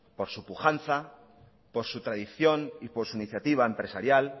por su pujanza por su tradición y por su iniciativa empresarial